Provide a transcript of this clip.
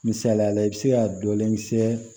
Misaliyala i bɛ se ka dɔlen kisɛ